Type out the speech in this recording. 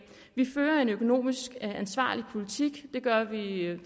vi fører en økonomisk ansvarlig politik det gør vi i